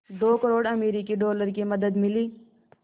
दो करोड़ अमरिकी डॉलर की मदद मिली